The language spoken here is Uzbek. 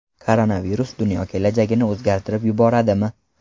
Koronavirus dunyo kelajagini o‘zgartirib yuboradimi?